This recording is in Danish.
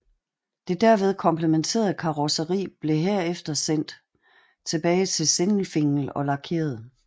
Det derved kompletterede karrosseri blev herefter sendt tilbage til Sindelfingen og lakeret